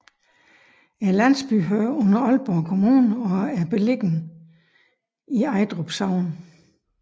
Landsbyen hører under Aalborg Kommune og er beliggende i Ejdrup Sogn